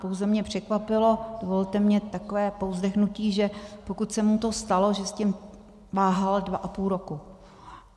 Pouze mě překvapilo, dovolte mně takové povzdechnutí, že pokud se mu to stalo, že s tím váhal dva a půl roku...